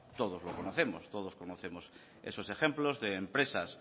todos los conocemos todos conocemos esos ejemplos de empresas